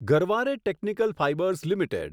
Garware technical fibres limited